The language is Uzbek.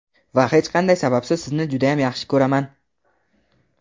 Va hech qanday sababsiz sizni judayam yaxshi ko‘raman).